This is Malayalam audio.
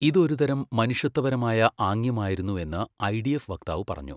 ഇത് ഒരുതരം മനുഷ്യത്വപരമായ ആംഗ്യമായിരുന്നു എന്ന് ഐഡിഎഫ് വക്താവ് പറഞ്ഞു.